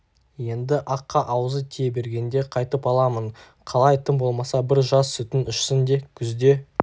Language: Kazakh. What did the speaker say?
енді аққа аузы тие бергенде қайтып аламың қалай тым болмаса бір жаз сүтін ішсін де күзде